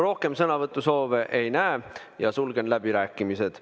Rohkem sõnavõtusoove ei näe, sulgen läbirääkimised.